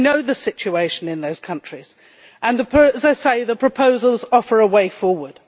We know the situation in those countries and, as I say, the proposals offer a way forward.